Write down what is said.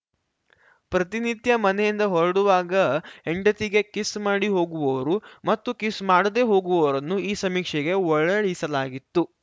ಪ್ರತಿನಿತ್ಯ ಮನೆಯಿಂದ ಹೊರಡುವಾಗ ಹೆಂಡತಿಗೆ ಕಿಸ್‌ ಮಾಡಿ ಹೋಗುವವರು ಮತ್ತು ಕಿಸ್‌ ಮಾಡದೇ ಹೋಗುವವರನ್ನು ಈ ಸಮೀಕ್ಷೆಗೆ ಒಳಡಿಸಲಾಗಿತ್ತು